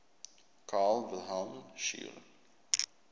carl wilhelm scheele